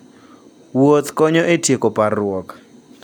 Wuoth konyo e tieko parruok.